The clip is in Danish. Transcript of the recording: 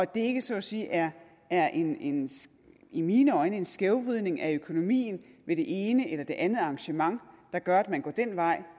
det ikke så at sige er er en en i min øjne skævvridning af økonomien ved det ene eller det andet arrangement der gør at man går den vej